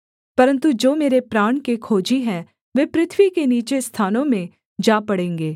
परन्तु जो मेरे प्राण के खोजी हैं वे पृथ्वी के नीचे स्थानों में जा पड़ेंगे